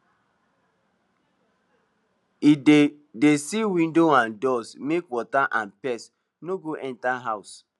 he dey dey seal windows and doors make water and pests no go enter house